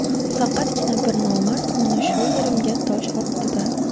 Faqatgina bir nomard mana shu yerimga tosh otdi-da.